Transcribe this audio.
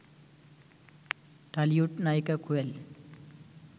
Tollywood নায়িকা কোয়েল